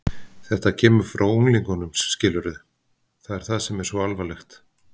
Þetta kemur frá unglingunum, skilurðu, það er það sem er svo alvarlegt.